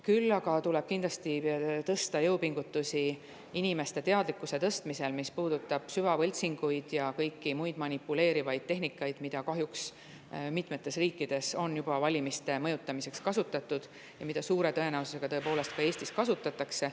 Küll aga tuleb kindlasti jõupingutusi inimeste teadlikkuse tõstmisel, mis puudutab süvavõltsinguid ja kõiki muid manipuleerivaid tehnikaid, mida kahjuks mitmetes riikides on juba valimiste mõjutamiseks kasutatud ja mida suure tõenäosusega ka Eestis kasutatakse.